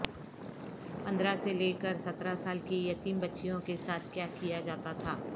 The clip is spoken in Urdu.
پندرہ سے لے کر سترہ سال کی یتیم بچیوں کیساتھ کیا کیا جاتا تھا